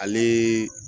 Ale